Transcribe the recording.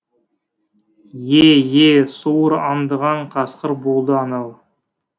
е е суыр аңдыған қасқыр болды анау